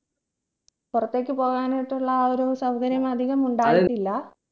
പുറത്തേക് പോകാനായിട്ടുള്ള ആ ഒരു സൗകര്യങ്ങൾ അധികം ഉണ്ടായിട്ടില്ല